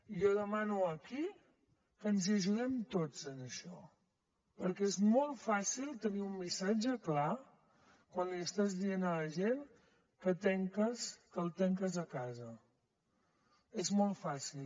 jo demano aquí que ens hi ajudem tots en això perquè és molt fàcil tenir un missatge clar quan li estàs dient a la gent que la tanques a casa és molt fàcil